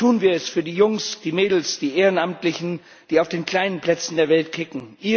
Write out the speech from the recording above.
Tun wir es für die Jungs, die Mädels, die Ehrenamtlichen, die auf den kleinen Plätzen der Welt kicken.